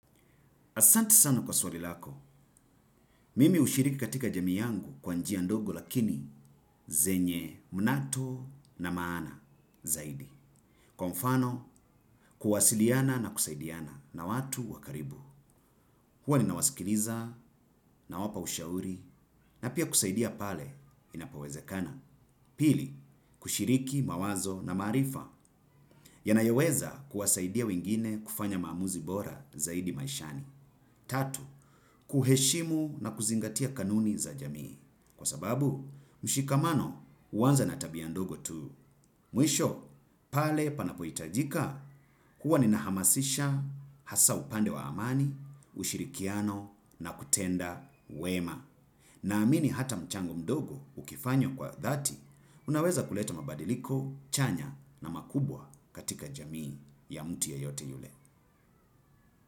Asante sana kwa swali lako, mimi hushiriki katika jamii yangu kwa njia ndogo lakini zenye munato na maana zaidi. Kwa mfano kuwasiliana na kusaidiana na watu wa karibu. Huwa ninawasikiliza nawapa ushauri na pia kusaidia pale inapowezekana. Pili, kushiriki mawazo na maarifa yanayoweza kuwasaidia wengine kufanya maamuzi bora zaidi maishani. Tatu, kuheshimu na kuzingatia kanuni za jamii. Kwa sababu mshikamano huanza na tabia ndogo tu. Mwisho pale panapohitajika kuwa nina hamasisha hasa upande wa amani, ushirikiano na kutenda wema. Naamini hata mchanho mdogo ukifanywa kwa dhati unaweza kuletaa mabadiliko chanya na makubwa katika jamii ya mtu yeyote yule.